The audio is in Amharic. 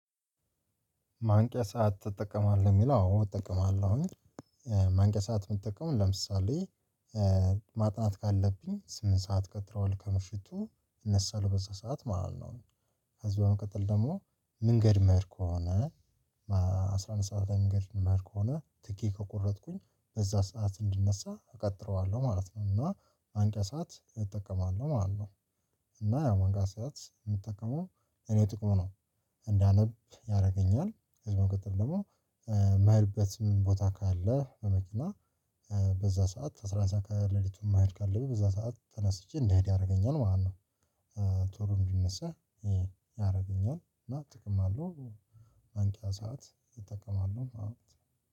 ማንቂያ ሰዓት ትጠቀማለህ የሚለው አዎ እጠቀማለሁ። ማንቂያ ሰዓት የምጠቀመው ለምሳሌ ማጥናት ካለብኝ ስምንት ሰዓት ቀጠሮ ከበፍቱ እነሳለሁ በዛ ሰዓት ማለት ነው። ከዚህ በመቀጠል ደግሞ መንገድ ምሄድ ከሆነ አስራ አንድ ሰዓት መንገድ ሚሄድ ከሆነ ቲኬት ከቆረጥኩኝ በዛ ሰዓት እንዲነሳ እቀጥረዋለሁ ማለት ነው እና መንቂያ ሰዓት እጠቀማለሁ ማለት ነው። እና ያው መንቂያ ስዓት የምጠቀመው እኔ ጥቅሙ ነው። እንዳነብ ያደርገኛል ከዛ በመቀጠል ደግሞ የሚሄበትም ቦታ ካለ በመኪና በዛ ሰዓት አስራ አንድ ሰዓት ከሌሊቱ ማሄድ ካለብኝ በዛ ሰዓት ተነስቼ እንዲሄድ ያደርገኛል ማለት ነው። ቶሎ እንዲነሳ ያደርገኛል እና ጥቅም አለው። ማንቂያ ሰዓት እጠቀማለሁ